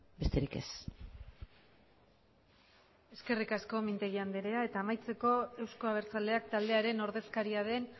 besterik ez eskerrik asko mintegi anderea eta amaitzeko euzko abertzaleak taldearen ordezkaria den